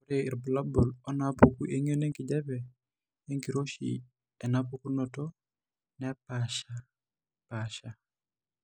Ore irbulabul onaapuku eng'ion enkijiape oenkiroshi einapukunoto nepaashipaasha.